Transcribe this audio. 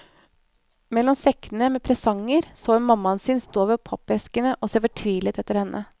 Mellom sekkene med presanger så hun mammaen sin stå ved pappeskene og se fortvilet etter henne.